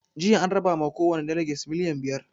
Jiya an raba ma kowani daleges miliyan biyar